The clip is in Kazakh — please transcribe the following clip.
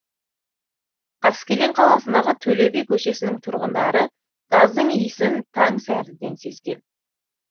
қаскелең қаласындағы төле би көшесінің тұрғындары газдың иісін таң сәріден сезген